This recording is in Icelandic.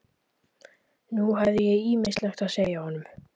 Nú hafði ég ýmislegt að segja honum.